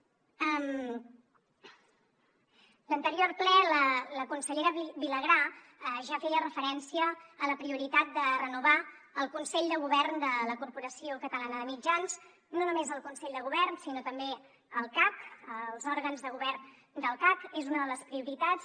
l’anterior ple la consellera vilagrà ja feia referència a la prioritat de renovar el consell de govern de la corporació catalana de mitjans no només el consell de govern sinó també el cac els òrgans de govern del cac és una de les prioritats